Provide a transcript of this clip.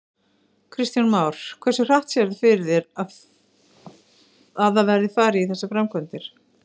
Kristján Már: Hversu hratt sérðu fyrir þér að það verði farið í þessar framkvæmdir?